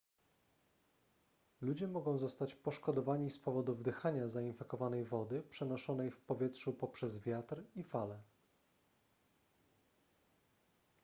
ludzie mogą zostać poszkodowani z powodu wdychania zainfekowanej wody przenoszonej w powietrzu poprzez wiatr i fale